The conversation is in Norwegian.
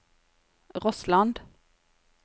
Rossland